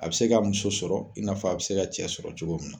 A bi se ka muso sɔrɔ i n'a fɔ, a bi se ka cɛ sɔrɔ cogo mun na.